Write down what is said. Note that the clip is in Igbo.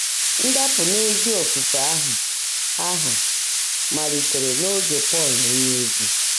Ndàpụ́ n’ézí ófùfé áhụ́ áhụ́ máliitèèré n’óge Pọ́l ónyéozi.